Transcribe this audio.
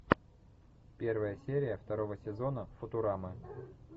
первая серия второго сезона футурамы